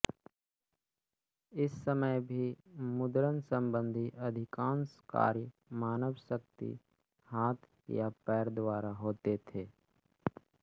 इस समय भी मुद्रणसंबंधी अधिकांश कार्य मानव शक्ति हाथ या पैर द्वारा होते थे